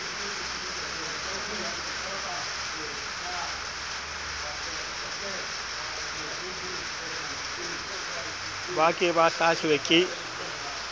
ba ke ba hahlwe ke